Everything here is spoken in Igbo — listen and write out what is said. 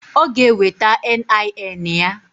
Ọ g'eweta NIN ya.